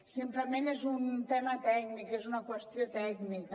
simplement és un tema tècnic és una qüestió tècnica